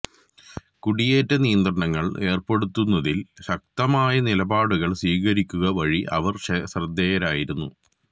കുടിയേറ്റ നിയന്ത്രണങ്ങൾ ഏർപ്പെടുത്തുന്നതിൽ ശക്തമായ നിലപാടുകൾ സ്വീകരിക്കുക വഴി അവർ ശ്രദ്ധേയയായിരുന്നു